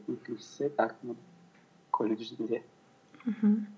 екіншісі колледжінде мхм